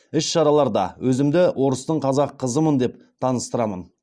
іс шараларда өзімді орыстың қазақ қызымын деп таныстырамын